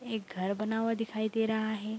एक घर बना हुआ दिखाई दे रहा है।